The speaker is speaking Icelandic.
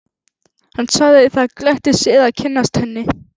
Hann sagði það gleddi sig að kynnast henni.